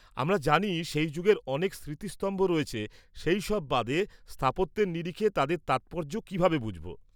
-আমরা জানি সেই যুগের অনেক স্মৃতিস্তম্ভ রয়েছে, সেইসব বাদে, স্থাপত্যের নিরিখে তাদের তাৎপর্য কীভাবে বুঝব?